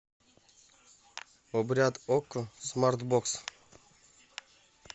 обряд окко смарт бокс